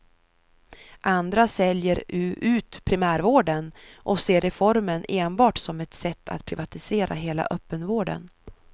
Andra säljer ut primärvården och ser reformen enbart som ett sätt att privatisera hela öppenvården.